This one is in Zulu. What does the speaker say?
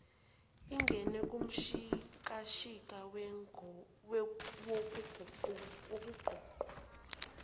ingene kumshikashika wokuqoqwa